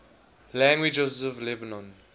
languages of lebanon